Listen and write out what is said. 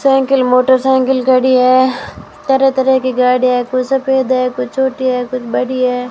Cycle motor cycle खड़ी है तरह-तरह की गाड़ियां है कोई सफेद है कोई छोटी हैं कुछ बड़ी है।